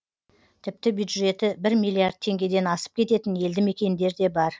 тіпті бюджеті бір миллиард теңгеден асып кететін елді мекендер де бар